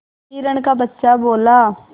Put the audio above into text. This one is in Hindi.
हिरण का बच्चा बोला